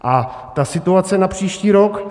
A ta situace na příští rok.